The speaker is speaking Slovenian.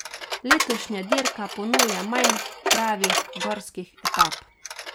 Letošnja dirka ponuja manj pravih gorskih etap.